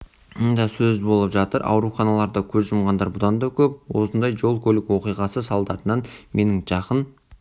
сөз болып жатыр ауруханаларда көз жұмғандар бұдан да көп осындай жол-көлік оқиғасы салдарынан менің жақын